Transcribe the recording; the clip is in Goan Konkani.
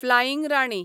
फ्लायींग राणी